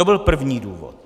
To byl první důvod.